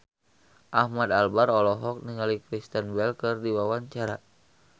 Ahmad Albar olohok ningali Kristen Bell keur diwawancara